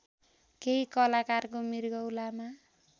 केही कलाकारको मृगौलामा